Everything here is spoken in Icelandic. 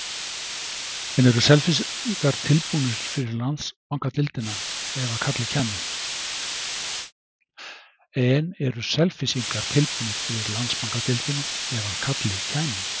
En eru Selfyssingar tilbúnir fyrir Landsbankadeildina ef að kallið kæmi?